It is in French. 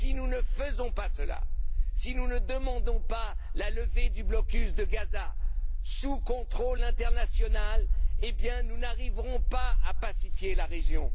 Si nous ne le faisons pas, si nous ne demandons pas la levée du blocus de Gaza sous contrôle international, nous n'arriverons pas à pacifier la région.